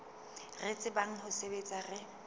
re tsebang ho sebetsa re